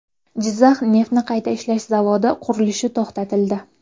Jizzax neftni qayta ishlash zavodi qurilishi to‘xtatildi .